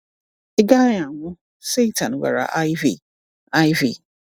"Ị gaghị anwụ, Satan gwara Iv." Iv."